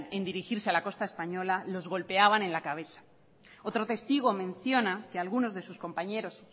en dirigirse a la costa española los golpeaban en la cabeza otro testigo menciona que algunos de sus compañeros